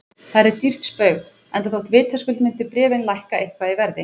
Það yrði dýrt spaug, enda þótt vitaskuld myndu bréfin lækka eitthvað í verði.